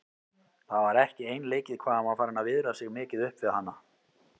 Það var ekki einleikið hvað hann var farinn að viðra sig mikið upp við hana.